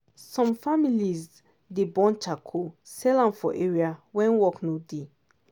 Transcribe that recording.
some families dey burn charcoal sell am for area when farm work no dey.